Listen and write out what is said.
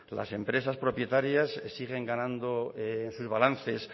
las empresas propietarias siguen ganando en sus balances